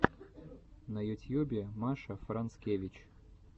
на ютьюбе маша францевич